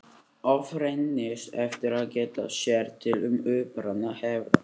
Oft reynist erfitt að geta sér til um uppruna hefða.